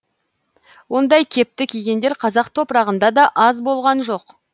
ондай кепті кигендер қазақ топырағында да аз болған жоқ